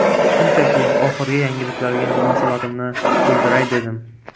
Shunchaki, oxirgi yangiliklarga munosabatimni bildiray dedim.